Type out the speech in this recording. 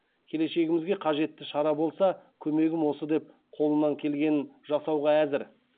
келешегімізге қажетті шара болса көмегім осы деп қолынан келгенін жасауға әзір